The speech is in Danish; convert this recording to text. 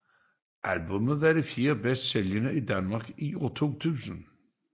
Albummet var det fjerde bedst sælgende i Danmark i 2000